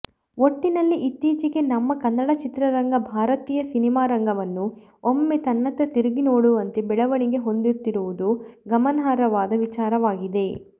ಒಟ್ಟಿನಲ್ಲಿ ಇತ್ತೀಚೆಗೆ ನಮ್ಮ ಕನ್ನಡ ಚಿತ್ರರಂಗ ಭಾರತೀಯ ಸಿನಿಮಾರಂಗವನ್ನು ಒಮ್ಮೆ ತನ್ನತ್ತ ತಿರುಗಿ ನೋಡುವಂತೆ ಬೆಳವಣಿಗೆ ಹೊಂದುತ್ತಿರುವುದು ಗಮನಾರ್ಹವಾದ ವಿಚಾರವಾಗಿದೆ